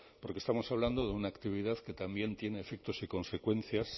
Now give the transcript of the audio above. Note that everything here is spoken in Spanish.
porque estamos hablando de una actividad que también tiene efectos y consecuencias